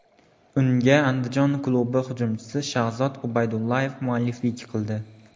Unga Andijon klubi hujumchisi Shahzod Ubaydullayev mualliflik qildi.